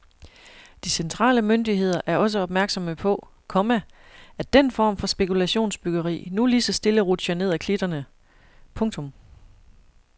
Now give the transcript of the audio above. De centrale myndigheder er også opmærksomme på, komma at den form for spekulationsbyggeri nu lige så stille rutscher ned ad klitterne. punktum